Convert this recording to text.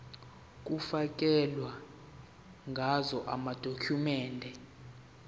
kufakelwe ngazo amadokhumende